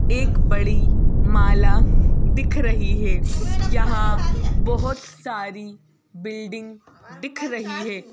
एक बड़ी माला दिख रही है यहां बहुत सारी बिल्डिंग दिख रही है।